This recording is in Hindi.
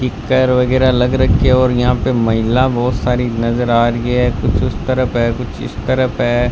इक्कर वगैरा लगा रखी है और यहां पे महिला बहोत सारी नजर आ रही है कुछ उस तरफ है कुछ इस तरफ है।